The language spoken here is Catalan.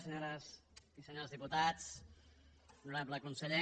senyores i senyors diputats honorable conseller